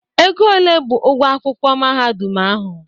Ego ole bụ ụgwọ akwụkwọ mahadum ahụ?